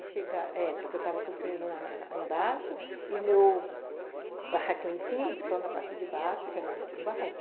Chega. É, porque eu estava construindo na... embaixo e o meu barraco em cima, então, na parte de baixo, que era, tinha um barranco.